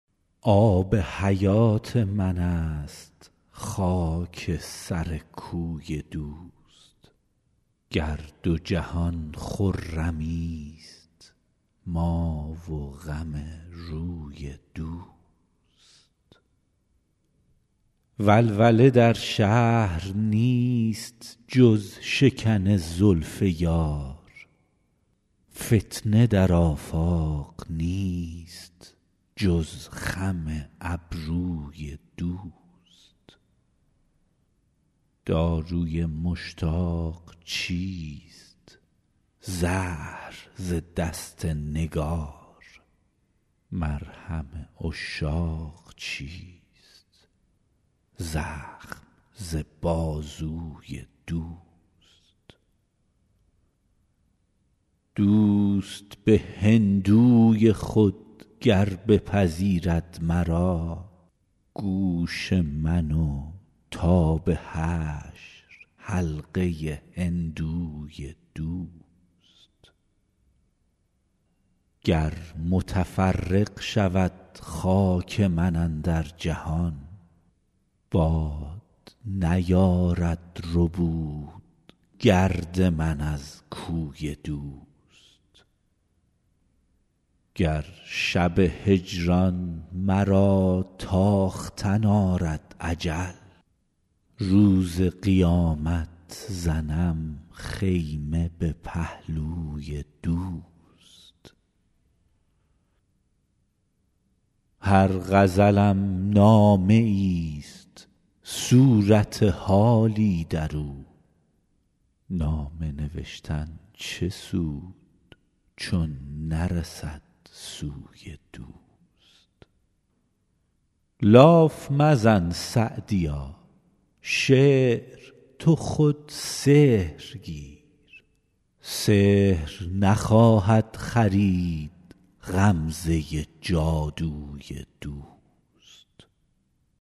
آب حیات من است خاک سر کوی دوست گر دو جهان خرمیست ما و غم روی دوست ولوله در شهر نیست جز شکن زلف یار فتنه در آفاق نیست جز خم ابروی دوست داروی مشتاق چیست زهر ز دست نگار مرهم عشاق چیست زخم ز بازوی دوست دوست به هندوی خود گر بپذیرد مرا گوش من و تا به حشر حلقه هندوی دوست گر متفرق شود خاک من اندر جهان باد نیارد ربود گرد من از کوی دوست گر شب هجران مرا تاختن آرد اجل روز قیامت زنم خیمه به پهلوی دوست هر غزلم نامه ایست صورت حالی در او نامه نوشتن چه سود چون نرسد سوی دوست لاف مزن سعدیا شعر تو خود سحر گیر سحر نخواهد خرید غمزه جادوی دوست